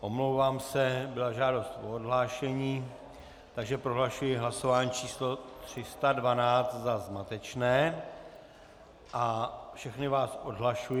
Omlouvám se, byla žádost o odhlášení, takže prohlašuji hlasování číslo 312 za zmatečné a všechny vás odhlašuji.